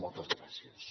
moltes gràcies